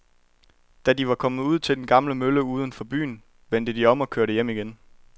Da de var kommet ud til den gamle mølle uden for byen, vendte de om og kørte hjem igen.